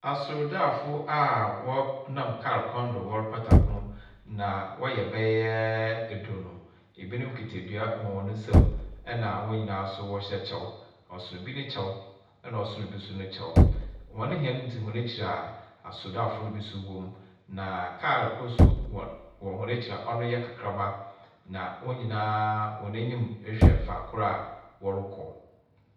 Asordaafo a wɔ nam kaar kwan do wɔrepata ko, na wɔyɛ bɛyɛ eduonu, binom kitsa ndua na hɔn nyina nso wɔhyɛ kyɛw, ɔsor bi ne kyɛw na ɔsor bi nso ne kyɛw. Hɔn hɛn dzi hɔn ekyir a asordaafo no no bi so wɔ mu, na kaar kor so wɔ hɔn ekyir a ɔno yɛ kakraba, na hɔn nyina hɔn enyim kyerɛ fakor a wɔrekɔ.